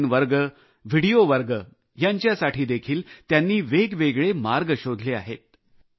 online वर्ग video वर्ग यांच्यासाठी देखील त्यांनी वेगवेगळे मार्ग शोधले आहेत